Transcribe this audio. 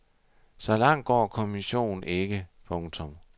Så langt går kommissionen ikke. punktum